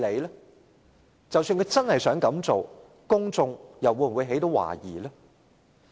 即使政府真的想這樣做，公眾又會否懷疑？